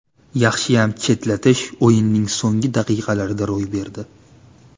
Yaxshiyam chetlatish o‘yinning so‘nggi daqiqalarida ro‘y berdi.